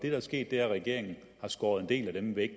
er sket er at regeringen har skåret en del af dem væk